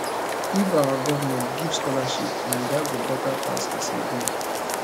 if our government give scholarship naija go beta pass as e be